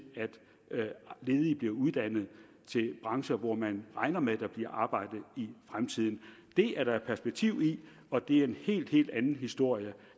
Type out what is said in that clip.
at ledige bliver uddannet til brancher hvor man regner med at der bliver arbejde i fremtiden det er der perspektiv i og det er en helt helt anden historie